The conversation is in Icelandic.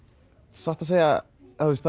satt að segja